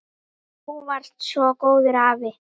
Þú varst svo góður afi.